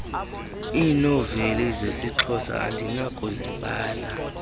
iinoveli zesixhosa andinakuzibala